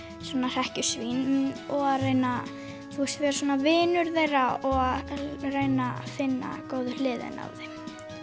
svona hrekkjusvín og reyna að vera svona vinur þeirra og reyna að finna góðu hliðina á þeim